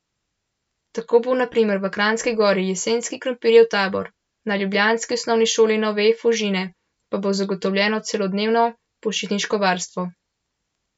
Tako bo na primer v Kranjski Gori jesenski krompirjev tabor, na ljubljanski osnovni šoli Nove Fužine pa bo zagotovljeno celodnevno počitniško varstvo.